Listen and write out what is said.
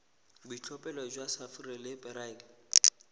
boitlhophelo jwa sapphire le beryl